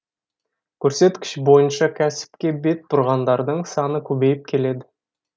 көрсеткіш бойынша кәсіпке бет бұрғандардың саны көбейіп келеді